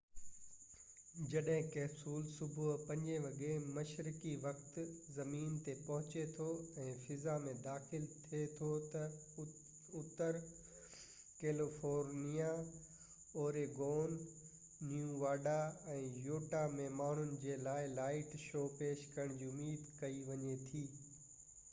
جڏهن ڪئپسول صبح 5 وڳي مشرقي وقت زمين تي پهچي ٿو ۽ فضا ۾ داخل ٿي ٿو ته، اتر ڪيليفورنيا، اوريگون نيواڊا، ۽ يوٽها ۾ ماڻهن جي لاءِ لائٽ شو پيش ڪرڻ جي اميد ڪئي وڃي ٿي